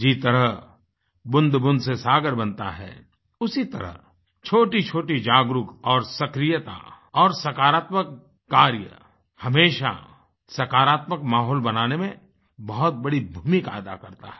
जिस तरह बूंदबूंद से सागर बनता है उसी तरह छोटीछोटी जागरुक और सक्रियता और सकारात्मक कार्य हमेशा सकारात्मक माहौल बनाने में बहुत बड़ी भूमिका अदा करता है